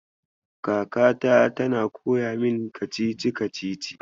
Kakata tana koya min kacici-kacici.